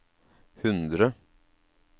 hundre